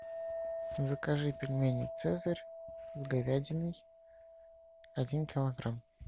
закажи пельмени цезарь с говядиной один килограмм